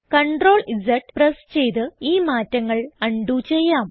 CTRL Z press ചെയ്ത് ഈ മാറ്റങ്ങൾ അൺഡു ചെയ്യാം